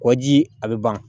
Kɔji a bɛ ban